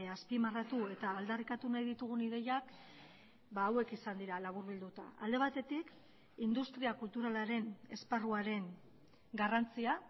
azpimarratu eta aldarrikatu nahi ditugun ideiak hauek izan dira laburbilduta alde batetik industria kulturalaren esparruaren garrantzia